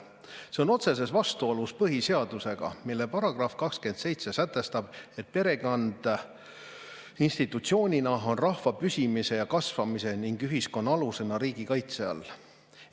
See on otseses vastuolus põhiseadusega, mille § 27 sätestab, et perekond institutsioonina on rahva püsimise ja kasvamise ning ühiskonna alusena riigi kaitse all.